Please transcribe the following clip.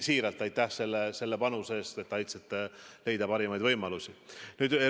Siiralt aitäh selle panuse eest, et aitasite leida parimaid võimalusi!